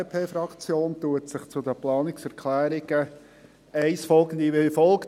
Die FDP-Fraktion äussert sich zu den Planungserklärungen 1 und folgende wie folgt: